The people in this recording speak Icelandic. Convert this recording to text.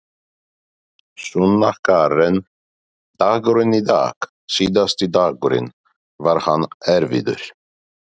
Sunna Karen: Dagurinn í dag síðasti dagurinn, var hann erfiður?